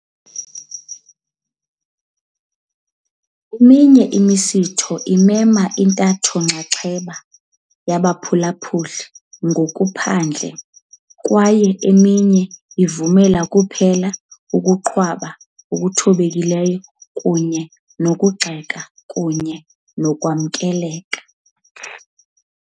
Eminye imisitho imema intatho-nxaxheba yabaphulaphuli ngokuphandle kwaye eminye ivumela kuphela ukuqhwaba okuthobekileyo kunye nokugxeka kunye nokwamkela.